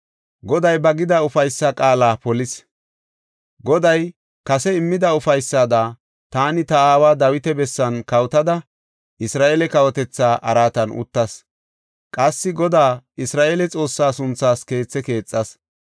“Goday ba gida ufaysa qaala polis. Goday kase immida ufaysada taani ta aawa Dawita bessan kawotada Isra7eele kawotetha araatan uttas. Qassi Godaa Isra7eele Xoossaa sunthaas keethe keexas.